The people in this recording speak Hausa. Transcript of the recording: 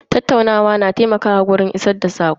Tattaunawa na taimakawa wajen isar da sako.